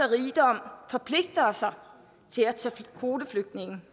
rigdom forpligter sig til at tage kvoteflygtninge